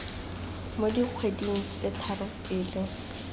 mo dikgweding tse tharo pele